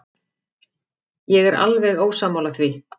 Ég er alveg ósammála því.